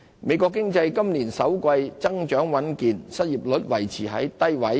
美國經濟今年首季增長穩健，失業率維持在低位。